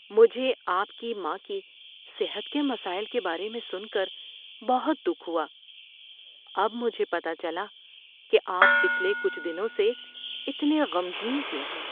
مجھے آپ کی ماں کی صحت کے مسائل کے بارے میں سن کر بہت دکھ ہوا۔ اب مجھے پتہ چلا کہ آپ پچھلے کچھ دنوں سے اتنے غمگین کیوں ہیں۔